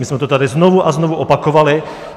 My jsme to tady znovu a znovu opakovali.